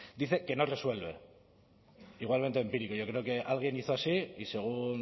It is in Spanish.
dice que no resuelve igualmente empírico yo creo que alguien hizo así y según